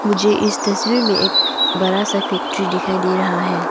मुझे इस तस्वीर में एक बड़ा सा फैक्ट्री दिखाई दे रहा है।